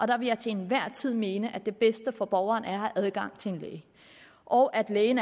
der vil jeg til enhver tid mene at det bedste for borgeren er at have adgang til en læge og at lægen